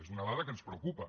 és una dada que ens preocupa